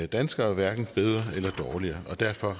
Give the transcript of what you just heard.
danskere hverken bedre eller dårligere og derfor